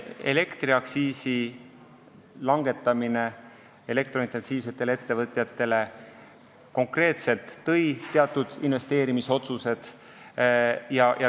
Elektriaktsiisi langetamine elektrointensiivsetele ettevõtetele konkreetselt tõi teatud investeerimisotsused.